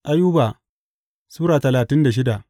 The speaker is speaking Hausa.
Ayuba Sura talatin da shida